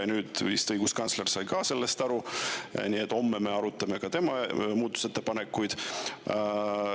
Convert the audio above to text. Ja nüüd vist õiguskantsler sai ka sellest aru, homme me arutame tema muudatusettepanekuid.